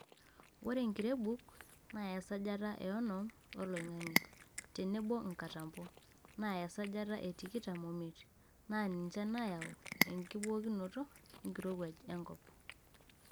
Ore enkirebuk [ naa esajata e onom oloing'ange] tenebo nkatampo [naa esajata e tikitam omiet] naa ninche naayau enkibookinoto enkirowuaj enkop.